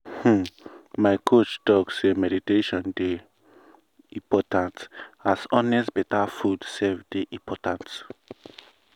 um my coach talk say meditation dey wait! important as honest better food sef dey important.